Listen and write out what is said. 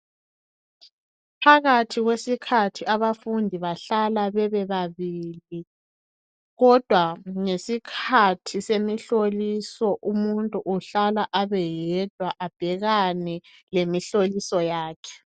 Phakathi kwesikhathi abafundi bahlala bebe babili Kodwa ngesikhathi semihloliso umuntu uhlala abeyedwa abhekane lemihloliso yakhe